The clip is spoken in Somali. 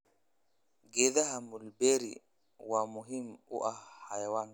Geedaha mulberry waa muhiim u ah xayawaanka.